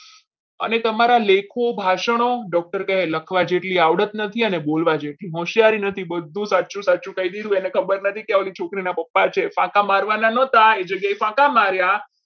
અને તમારા લેખો ભાષાનો doctor કહે લખવા જેટલી આવડત નથી અને બોલવા જેટલી હોશિયારી નથી બધું સાચું સાચું કહી દીધું એને ખબર નથી ઓલા છોકરીના પપ્પા છે કાકા મારવાના નહોતા એટલે ફાંકા માર્યા.